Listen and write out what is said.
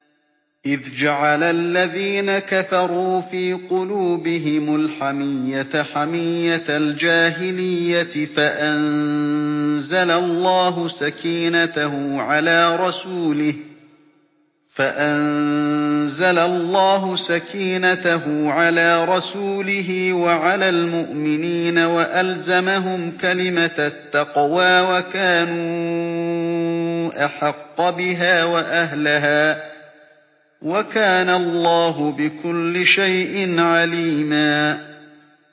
إِذْ جَعَلَ الَّذِينَ كَفَرُوا فِي قُلُوبِهِمُ الْحَمِيَّةَ حَمِيَّةَ الْجَاهِلِيَّةِ فَأَنزَلَ اللَّهُ سَكِينَتَهُ عَلَىٰ رَسُولِهِ وَعَلَى الْمُؤْمِنِينَ وَأَلْزَمَهُمْ كَلِمَةَ التَّقْوَىٰ وَكَانُوا أَحَقَّ بِهَا وَأَهْلَهَا ۚ وَكَانَ اللَّهُ بِكُلِّ شَيْءٍ عَلِيمًا